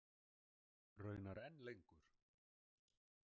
Raunar enn lengur.